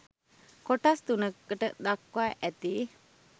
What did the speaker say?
කොටස් තුනකට දක්වා ඇති